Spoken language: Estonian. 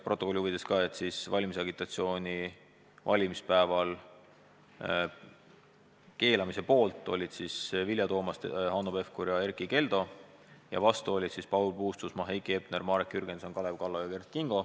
Protokolli huvides olgu öeldud, et valimispäeval valimisagitatsiooni keelamise poolt olid Vilja Toomast, Hanno Pevkur ja Erkki Keldo ning vastu olid Paul Puustusmaa, Heiki Hepner, Marek Jürgenson, Kalev Kallo ja Kert Kingo.